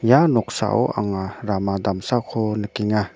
ia noksao anga rama damsako nikenga.